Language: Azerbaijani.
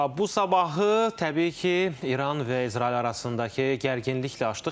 Bu sabahı təbii ki, İran və İsrail arasındakı gərginliklə açdıq.